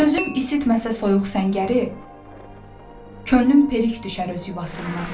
Sözüm isitməsə soyuq səngəri, könlüm perik düşər öz yuvasından.